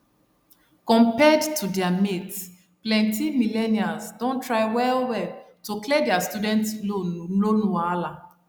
compared to their mates plenty millennials don try well well to clear their student loan loan wahala